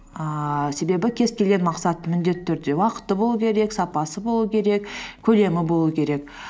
ііі себебі кез келген мақсаттың міндетті түрде уақыты болу керек сапасы болу керек көлемі болу керек